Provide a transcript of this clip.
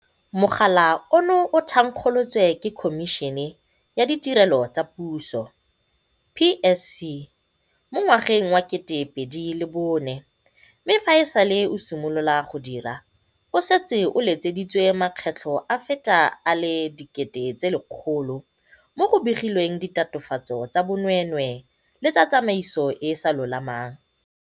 Mogala ono o thankgolotswe ke Khomišene ya Ditirelo tsa Puso, PSC, mo ngwageng wa 2004 mme fa e sale o simolola go dira o setse o letseditswe makgetlo a feta a le 100 000 mo go begilweng ditatofatso tsa bonweenwee le tsa tsamaiso e e sa lolamang.